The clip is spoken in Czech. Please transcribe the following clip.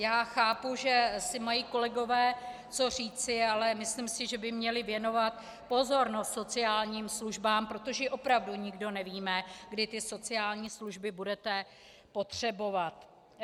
Já chápu, že si mají kolegové co říci, ale myslím si, že by měli věnovat pozornost sociálním službám, protože opravdu nikdo nevíme, kdy ty sociální služby budete potřebovat.